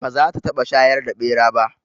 Ba za ta taɓa shayar da ɓera ba